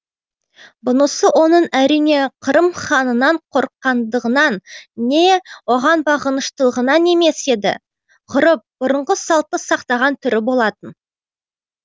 бұнысы оның әрине қырым ханынан қорыққандығынан не оған бағыныштылығынан емес еді ғұрып бұрынғы салтты сақтаған түрі болатын